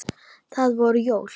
Það voru jól.